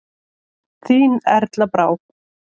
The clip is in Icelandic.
Þín Erla Brá.